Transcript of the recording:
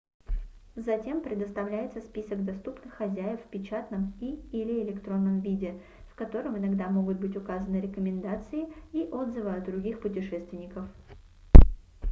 затем предоставляется список доступных хозяев в печатном и/или электронном виде в котором иногда могут быть указаны рекомендации и отзывы от других путешественников